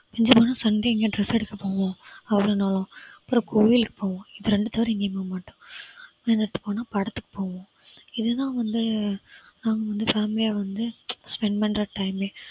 மிஞ்சி போனா sunday எங்கயா dress எடுக்கப் போவோம் அவளும் நானும் அப்புறம் கோயிலுக்கு போவோம். இது ரெண்ட தவிர எங்கேயும் போக மாட்டோம். படத்துக்கு போவோம் இதுதான் வந்து நாங்க வந்து family ஆ வந்து spend பண்ற time ஏ